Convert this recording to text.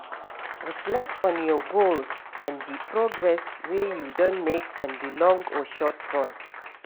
Reflect on your goals and di progress wey you don make on di long or short run